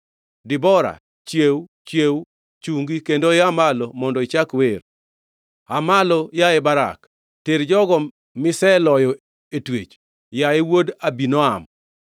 Debora, chiew, chiew! ‘Chungi kendo ia malo mondo ichak wer! Aa malo, yaye Barak! Ter jogo miseloyo e twech, yaye wuod Abinoam.’